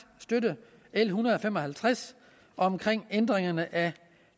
støtte l en hundrede og fem og halvtreds om ændringerne af